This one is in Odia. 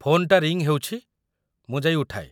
ଫୋନ୍‌ଟା ରିଙ୍ଗ୍ ହେଉଛି, ମୁଁ ଯାଇ ଉଠାଏ ।